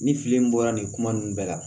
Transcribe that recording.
Ni fili in bɔra nin kuma ninnu bɛɛ la